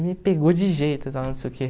Me pegou de jeito, e tal, não sei o quê.